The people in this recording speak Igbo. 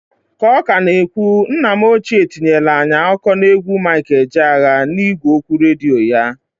K'ọ ka na ekwu nna m ochie tinyelu anyị akụkọ n'egwu Mik Ejeaya, n'igwe okwu redio ya.